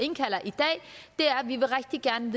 vi rigtig gerne